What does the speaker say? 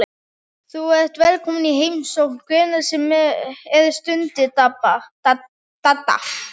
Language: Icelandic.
Þú ert velkominn í heimsókn hvenær sem er stundi Dadda.